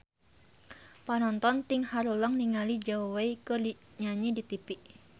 Panonton ting haruleng ningali Zhao Wei keur nyanyi di tipi